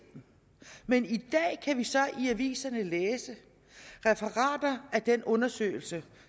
den men i dag kan vi så i aviserne læse referater af den undersøgelse